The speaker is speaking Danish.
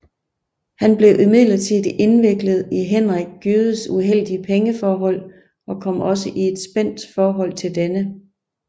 Han blev imidlertid indviklet i Henrik Gjøes uheldige pengeforhold og kom også i et spændt forhold til denne